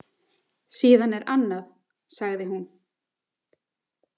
Síðan er annað, sagði hún.